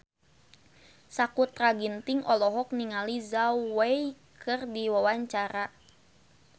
Sakutra Ginting olohok ningali Zhao Wei keur diwawancara